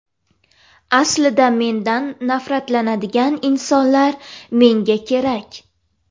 Aslida, mendan nafratlanadigan insonlar menga kerak.